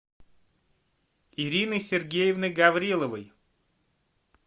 ирины сергеевны гавриловой